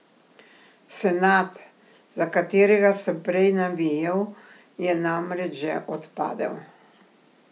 Senad, za katerega sem prej navijal, je namreč že odpadel.